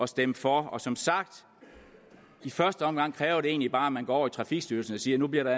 stemme for og som sagt i første omgang kræver det egentlig bare at man går over i trafikstyrelsen og siger nu bliver der